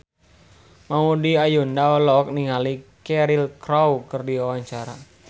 Maudy Ayunda olohok ningali Cheryl Crow keur diwawancara